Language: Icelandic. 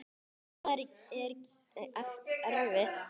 Er það ekkert erfitt?